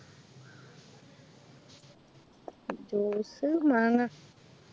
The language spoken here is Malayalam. Juice മാങ്ങ